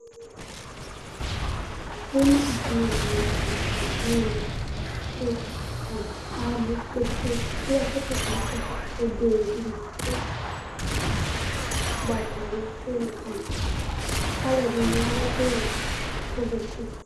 Ɛna dìní la ntɛ kɔ nʋ ɛmɛ kʋ atani abʋ kpe kpe kpe kʋ akɔsu atami itsɛdi ebene ni aku, ugbatawla Ele kama dɔ Alʋɛdìní adu ɛku wɛ, ɛku vɛ nʋ ɛku fʋe